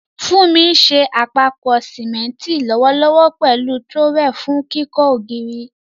Funmi ń ṣe àpòpọ̀ símẹ́ńtì lọ́wọ́lọ́wọ́ pẹ̀lú trowel fún kíkọ́ ògiri.